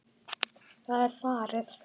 Það er farið!